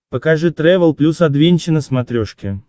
покажи трэвел плюс адвенча на смотрешке